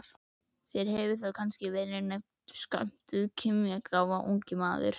Þér hefur kannski verið naumt skömmtuð kímnigáfan, ungi maður.